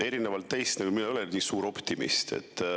Erinevalt teist mina ei ole nii suur optimist.